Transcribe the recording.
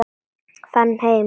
Fara heim!